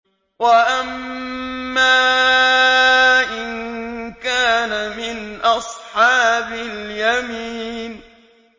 وَأَمَّا إِن كَانَ مِنْ أَصْحَابِ الْيَمِينِ